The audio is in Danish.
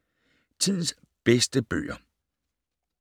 Tidens bedste bøger